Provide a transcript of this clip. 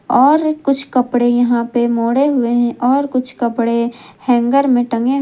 और कुछ कपड़े यहां पे मोडे हुए हैं और कुछ कपड़े हैंगर में टंगे हैं।